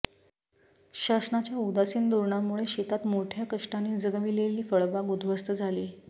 शासनाच्या उदासीन धोरणामुळे शेतात मोठ्या कष्टाने जगविलेली फळबाग उद्ध्वस्त झाली